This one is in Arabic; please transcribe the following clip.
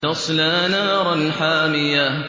تَصْلَىٰ نَارًا حَامِيَةً